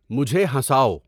مجھے ہنساؤ